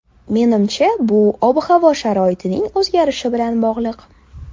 Menimcha bu ob-havo sharoitining o‘zgarishi bilan bog‘liq.